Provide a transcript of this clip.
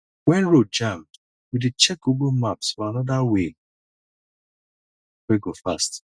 wen road jam we dey check google maps for anoda way wey go fast